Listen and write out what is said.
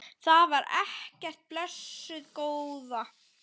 Það var ekkert, blessuð góða.